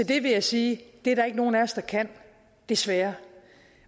det vil jeg sige at det er der ikke nogen af os der kan desværre